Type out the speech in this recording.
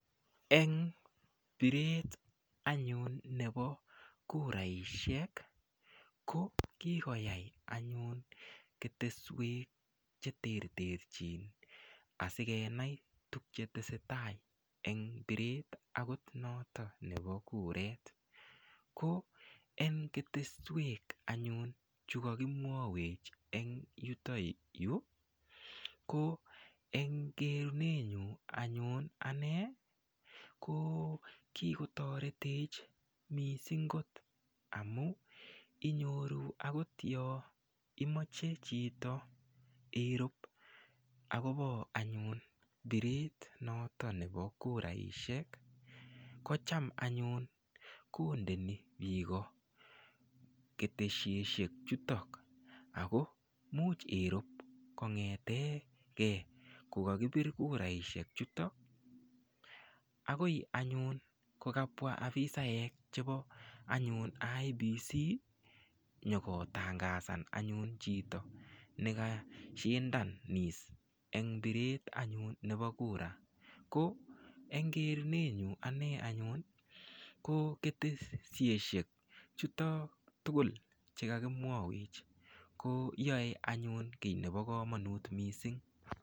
Eng biret anyun nebo kuraishek ko kikoyai anyun keteswek che ter ter chin asikenai tukchetesetai eng biret akot notok nebo kuret ko eng keteswek anyun chu kakimwowech eng yutoyu ko eng kerunenyu anyun ane ko kikotoretech mising kot amu inyoru akot yo imoche chito irup akopo anyun biret noto nebo kuraishek ko cham anyun kondeni biko ketesieshek chuto ako much irup kongeteke kokakipir kuraishek chuto akoi anyun kokapwa afisaek chepo anyun IEBC nyokotangasan anyun chito nika shindanis eng biret anyun nebo kura ko eng kerunenyu ane anyun ko ketesieshek chuto tukul cheka kimwawech ko yoe anyun kiy nebo komonut mising.